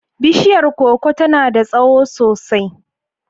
Bishiyar koko tana da tsawo sosai.